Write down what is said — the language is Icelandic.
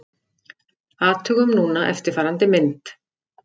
Athugum núna eftirfarandi mynd: